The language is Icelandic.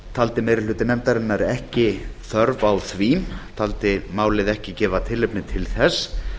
taldi meiri hluti nefndarinnar ekki þörf á því taldi málið ekki gefa tilefni til þess